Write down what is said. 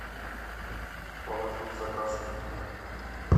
положи в заказ эклер